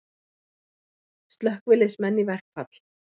Slökkviliðsmenn í verkfall